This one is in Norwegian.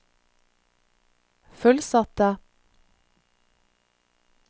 fullsatte